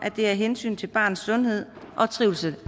det er af hensyn til barnets sundhed og trivsel